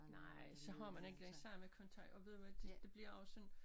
Nej så har man ikke den samme kontakt og ved du hvad det det bliver også sådan